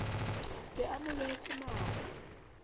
be a mo lohetse mano